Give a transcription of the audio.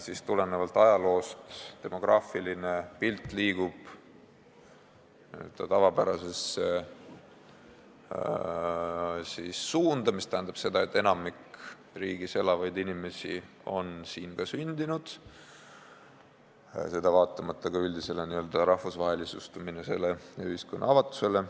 Nii et tulenevalt ajaloost liigub demograafiline pilt n-ö tavapärases suunas, mis tähendab seda, et enamik riigis elavaid inimesi on siin ka sündinud, seda vaatamata üldisele n-ö rahvusvahelistumisele ja ühiskonna avatusele.